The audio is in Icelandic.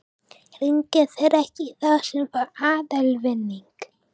Hringja þeir ekki í þá sem fá aðalvinning?